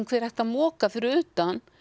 hver ætti að moka fyrir utan